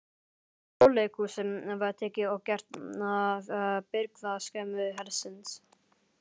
Þjóðleikhúsið var tekið og gert að birgðaskemmu hersins.